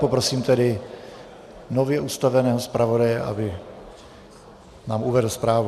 Poprosím tedy nově ustaveného zpravodaje, aby nám uvedl zprávu.